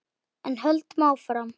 En höldum áfram